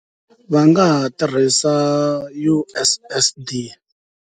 Va nga ha tirhisa U_S_S_D.